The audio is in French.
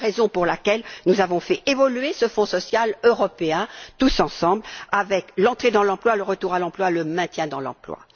C'est pourquoi nous avons fait évoluer ce Fonds social européen, tous ensemble, avec l'entrée dans l'emploi, le retour à l'emploi et le maintien dans l'emploi.